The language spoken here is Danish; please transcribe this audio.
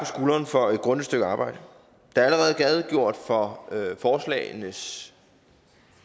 skulderen for et grundigt stykke arbejde der er allerede redegjort for forslagenes